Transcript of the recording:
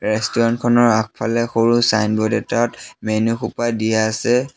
Restaurant খনৰ আগফালে সৰু চাইনবোৰ্ড এটাত মেনু সোপা দিয়া আছে।